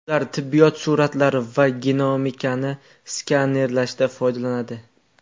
Ulardan tibbiyot suratlari va genomikani skanerlashda foydalaniladi.